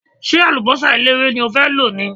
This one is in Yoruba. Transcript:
Ṣé àlùbọ́sà eléwé ni o fẹ́ lò ni?